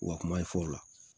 U ka kuma ye fɔ o la